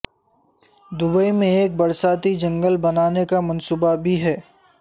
Dubai میں ایک برساتی جنگل بنانے کا منصوبہ بھی ہے